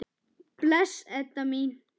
Bless, Edda mín.